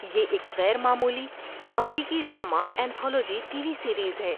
یہ ایک غیر معمولی، امریکی drama anthology TV series ہے۔